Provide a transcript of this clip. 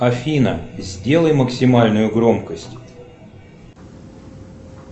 афина сделай максимальную громкость